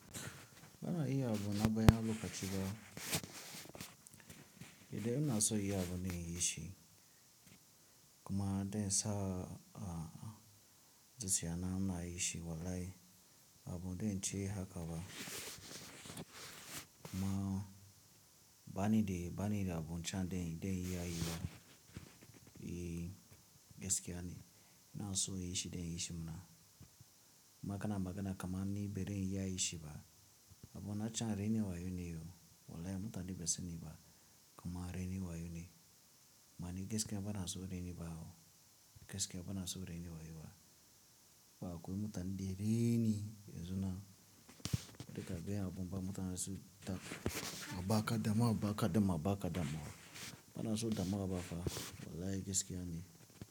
Bana iya abu na baya, bakaci ba. Idan ina so iya abu na yi shi kuma don sa a, zuciya ina yi shi. Wallahi abu don ce haka ba kuma bani dai, bani da abun can da, da in iya yi ba. E, gaskiya ne. Ina so yi shi da in yi shi muna. Ma kana, magana kaman ni, bari in iya yi shi ba. Abu na can raini wayo ne o. Wallahi mutane ba su sani ba kuma raini wayo ne. Mani gaskiya bana so raini ba o. Gaskiya bana so raini wayo ba. Ba akwai mutane raini yanzu na. Duka dai abun ba mutane su ta, ba ka dama, ba ka dama, ba ka dama. Bana so dama ba fa. Wallahi gaskiya ne.